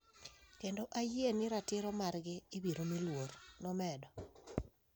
Kendo ayie ni ratiro margi ibiro mi luor", nomedo.